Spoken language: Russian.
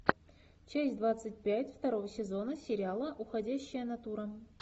часть двадцать пять второго сезона сериала уходящая натура